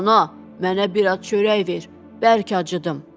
Ana, mənə biraz çörək ver, bərk acıdım.